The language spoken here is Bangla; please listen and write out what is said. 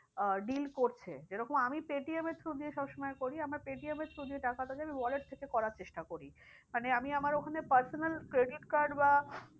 আহ deal করছে। যেরকম আমি পেটিএম এর though দিয়ে সব সময় করি আমার পেটিএম though দিয়ে টাকাটা যায় আমি wallet থেকে করার চেষ্টা করি। মানে আমি আমার ওখানে personal credit card বা